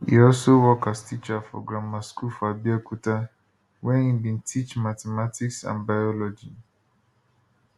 e also work as teacher for grammar school for abeokuta wia im bin teach mathematics and biology